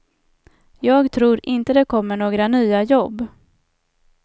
Jag tror inte det kommer några nya jobb.